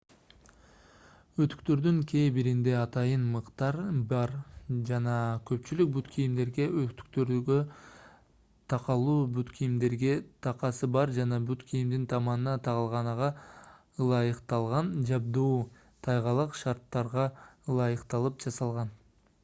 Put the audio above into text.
өтүктөрдүн кээ биринде атайын мыктар бар жана көпчүлүк бут кийимдерге өтүктөргө такалуу бут кийимдерге такасы бар жана бут кийимдин таманына тагылганага ылайыкталган жабдуу тайгалак шарттарга ылайыкталып жасалган